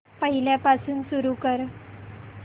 पहिल्यापासून सुरू कर